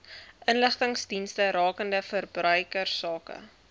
inligtingsdienste rakende verbruikersake